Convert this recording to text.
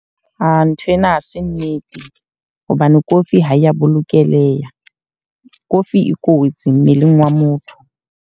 Ah nthwena ha se nnete. Hobane kofi ha ya bolokeha. Kofi e kotsi mmeleng wa motho.